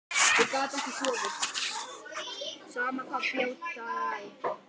Ég skil þau viðhorf vel.